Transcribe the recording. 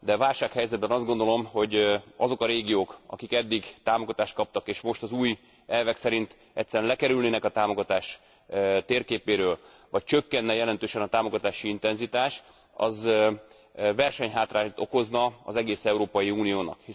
Válsághelyzetben azt gondolom, hogy ha azok a régiók, amelyek eddig támogatást kaptak, és most az új elvek szerint egyszerűen lekerülnének a támogatás térképéről, vagy csökkenne jelentősen a támogatási intenzitás, az versenyhátrányt okozna az egész Európai Uniónak.